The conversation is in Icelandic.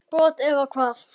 brot eða hvað?